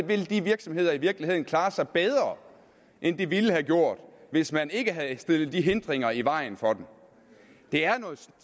vil de virksomheder i virkeligheden klare sig bedre end de ville have gjort hvis man ikke havde stillet de hindringer i vejen for dem det er noget